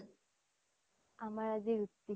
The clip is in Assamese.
আমাৰ আজি ৰুটি